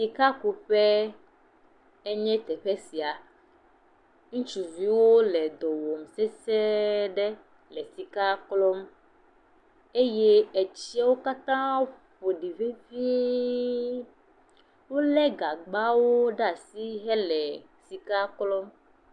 Sikakuƒe enye teƒe sia, ŋutsuviwo le dɔ wɔm sesee aɖe le sika klɔm eye etsiwo katã ƒoɖi vevie, wole gagbawo ɖe asi hele sika klɔm.